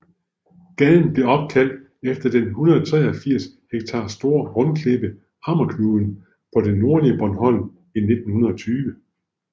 Gaden blev opkaldt efter den 183 ha store rundklippe Hammerknuden på det nordlige Bornholm i 1920